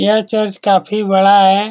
यह चर्च काफी बड़ा है।